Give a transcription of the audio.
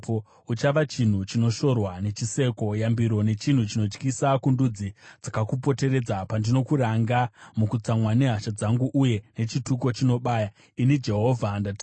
Uchava chinhu chinoshorwa nechiseko, yambiro nechinhu chinotyisa kundudzi dzakakupoteredza pandinokuranga mukutsamwa nehasha dzangu uye nechituko chinobaya. Ini Jehovha ndataura.